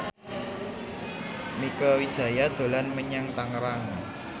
Mieke Wijaya dolan menyang Tangerang